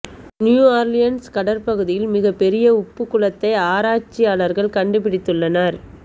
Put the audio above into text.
new Orleans கடற்பகுதியில் மிக பெரிய உப்பு குளத்தை ஆராய்ச்சியாளர்கள் கண்டுபிடித்துள்ளனர்